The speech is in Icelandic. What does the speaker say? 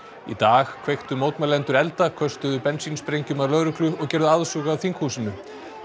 í dag kveiktu mótmælendur elda köstuðu að lögreglu og gerðu aðsúg að þinghúsinu